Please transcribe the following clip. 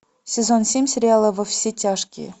сезон семь сериала во все тяжкие